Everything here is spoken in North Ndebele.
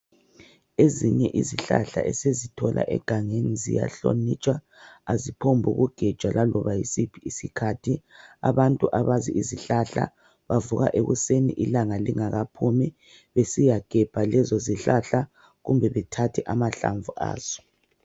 Ezinye izihlahla esizithola egangeni ziyahlonitshwa .Aziphombuku gejwa laloba yisiphi isikhathi .Abantu abazi isihlahla bavuka ekuseni ilanga lingakaphumi besiyagebha lezo zihlahla kumbe bethathe amahlamvu azo.